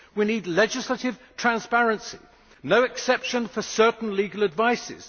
We need legislative transparency no exceptions for certain kinds of legal advice.